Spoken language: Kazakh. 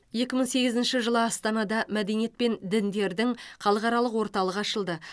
екі мың сегізінші жылы астанада мәдениет пен діндердің халықаралық орталығы ашылды